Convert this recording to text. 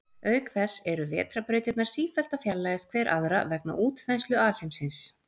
Auk þess eru vetrarbrautirnar sífellt að fjarlægjast hver aðra vegna útþenslu alheimsins.